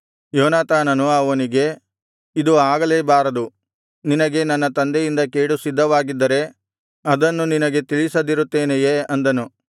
ಯೋನಾತಾನನು ಅವನಿಗೆ ಇದು ಆಗಲೇ ಬಾರದು ನಿನಗೆ ನನ್ನ ತಂದೆಯಿಂದ ಕೇಡು ಸಿದ್ಧವಾಗಿದ್ದರೆ ಅದನ್ನು ನಿನಗೆ ತಿಳಿಸದಿರುತ್ತೇನೆಯೇ ಅಂದನು